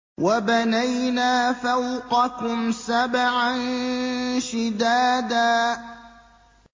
وَبَنَيْنَا فَوْقَكُمْ سَبْعًا شِدَادًا